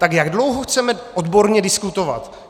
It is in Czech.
Tak jak dlouho chceme odborně diskutovat?